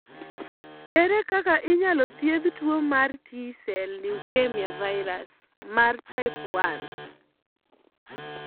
Ere kaka inyalo thiedh tuo mar T sel leukemia virus, mar type 1?